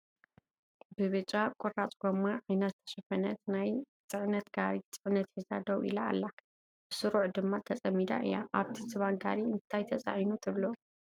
ብብጫ ቁራፅ ጎማ ዓይና ዝተሸፈነት ናይ ፅዕነት ጋሪ ፅዕነት ሒዛ ደው ኢላ ኣላ፡፡ ብስሩዕ ድማ ተፀሚዳ እያ፡፡ ኣብቲ ዝባን ጋሪ እንታይ ተፃዒኑ ትብሉ?